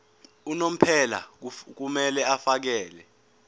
unomphela kumele afakele